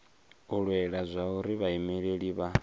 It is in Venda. u lwela zwauri vhaimeleli vha